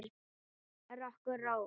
Rokk og ról.